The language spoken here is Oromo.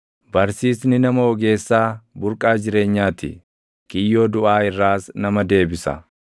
Barsiisni nama ogeessaa burqaa jireenyaa ti; kiyyoo duʼaa irraas nama deebisa.